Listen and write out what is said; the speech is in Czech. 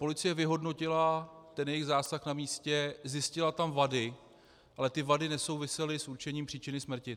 Policie vyhodnotila ten jejich zásah na místě, zjistila tam vady, ale ty vady nesouvisely s určením příčiny smrti.